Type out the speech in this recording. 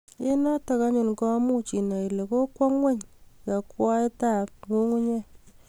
Eng' notok anyun ko much inai ole kokwo ngweny yakwaiyet ab ngungunyek